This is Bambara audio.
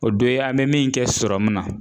O do ye an bɛ min kɛ sɔrɔmu na